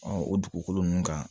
o dugukolo ninnu kan